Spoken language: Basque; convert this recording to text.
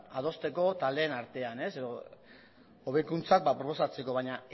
adosteko taldeen artean edo hobekuntzak proposatzeko baina